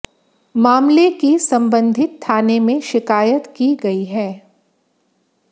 मामले की संबंधित थाने में शिकायत की गई है